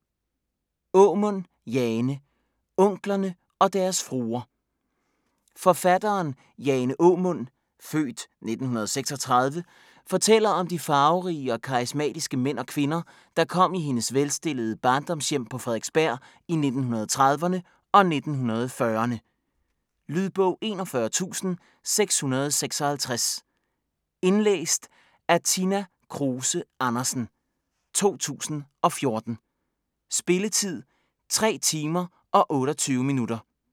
Aamund, Jane: Onklerne og deres fruer Forfatteren Jane Aamund (f. 1936) fortæller om de farverige og karismatiske mænd og kvinder, der kom i hendes velstillede barndomshjem på Frederiksberg i 1930'erne og 1940'erne. Lydbog 41656 Indlæst af Tina Kruse Andersen, 2014. Spilletid: 3 timer, 28 minutter.